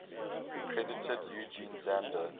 credited eugen zander